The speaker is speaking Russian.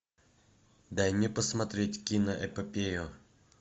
дай мне посмотреть киноэпопею